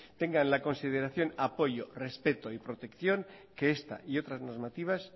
tengan la consideración apoyo respeto y protección que esta y otras normativas